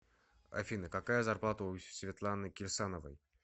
афина какая зарплата у светланы кирсановой